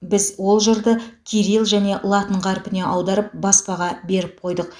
біз ол жырды кирилл және латын қарпіне аударып баспаға беріп қойдық